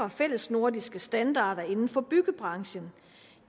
af fællesnordiske standarder inden for byggebranchen